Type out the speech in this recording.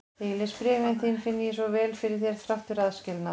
Þegar ég les bréfin þín finn ég svo vel fyrir þér þrátt fyrir aðskilnað.